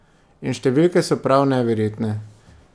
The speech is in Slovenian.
In številke so prav neverjetne.